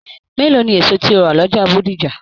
Mélòó ní èso tí o ra l'ọja Bódìjà?